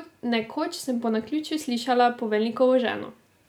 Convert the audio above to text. Nekoč sem po naključju slišala poveljnikovo ženo.